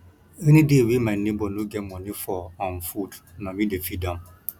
anyday wey my nebor no get moni for um food na me dey feed am